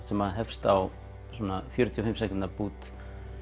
sem hefst á svona fjörutíu og fimm sekúndna bút